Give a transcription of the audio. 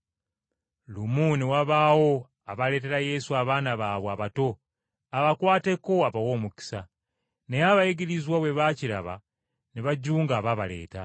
Lumu ne wabaawo abaaleetera Yesu abaana baabwe abato abakwateko abawe omukisa. Naye abayigirizwa bwe baakiraba ne bajunga abaabaleeta.